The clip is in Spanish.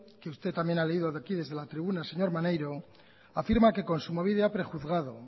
que usted también ha leído de aquí desde la tribuna señor maneiro afirma que kontsumobide ha prejuzgado